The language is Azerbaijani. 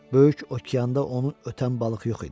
Böyük okeanda onu ötən balıq yox idi.